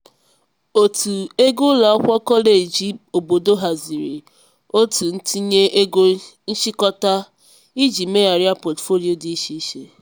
òtù ego ụlọ akwụkwọ kọleji obodo haziri otu ntinye ego nchịkọta iji megharịa pọtụfoliyo dị iche iche.